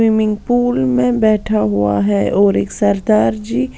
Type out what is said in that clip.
Swimming pool में बैठा हुआ है और एक सरदार जी।